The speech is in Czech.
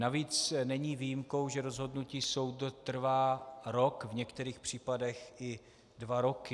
Navíc není výjimkou, že rozhodnutí soudu trvá rok, v některých případech i dva roky.